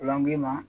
Lankilina